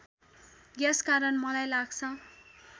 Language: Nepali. यसकारण मलाई लाग्छ